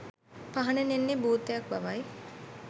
පහනෙන් එන්නේ භූතයක් බවයි.